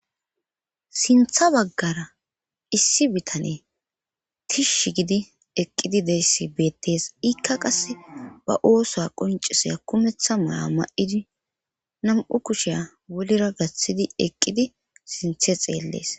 Sintha baggara issi bitane tishsh gidi eqqidi deyssi beettes ikka qasse ba oosa qonciseya kumeththa mala ma7idi nam7u kushiya wolira gaththidi eqqidi sinthe xeellees.